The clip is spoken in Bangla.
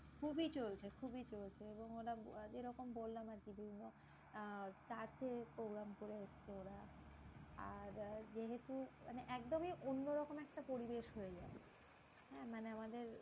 খুবই চলছে খুবই চলছে এবং ওরা যেরকম বললাম আরকি, যেগুলো আহ চার্চে programme করে এসেছে ওরা। আর যেহেতু মানে একদমই অন্য রকম একটা পরিবেশ হয় যায়। হ্যাঁ মানে আমাদের